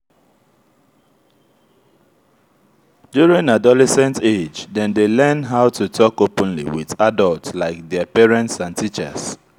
during adolesent age dem dey learn how to talk openly with adult like their parents and teachers